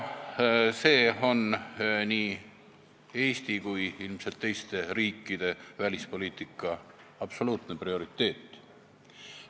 See on nii Eesti kui ilmselt ka teiste riikide välispoliitika absoluutne prioriteet.